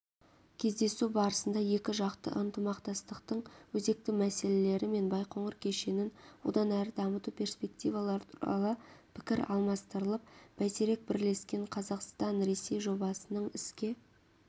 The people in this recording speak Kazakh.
кездесу барысында екіжақты ынтымақтастықтың өзекті мәселелері мен байқоңыр кешенін одан әрі дамыту перспективалары туралы пікір алмастырылып бәйтерек бірлескен қазақстанресей жобасының іске